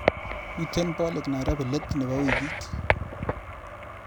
Miite bolik Nairobi let nebo wikit.